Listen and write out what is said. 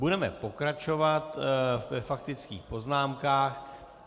Budeme pokračovat ve faktických poznámkách.